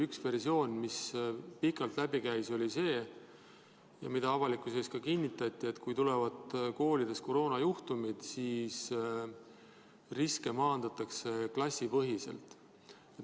Üks versioon, mis pikalt läbi käis ja mida avalikkuses kinnitati, oli see, et kui tulevad koolides koroonajuhtumid, siis riske maandatakse klassipõhiselt.